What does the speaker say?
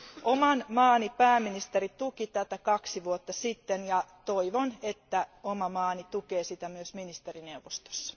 Oman maani pääministeri tuki tätä näkemystä kaksi vuotta sitten, ja toivon, että oma maani tukee sitä myös ministerineuvostossa.